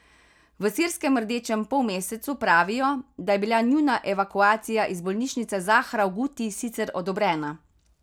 V sirskem Rdečem polmesecu pravijo, da je bila njuna evakuacija iz bolnišnice Zahra v Guti sicer odobrena.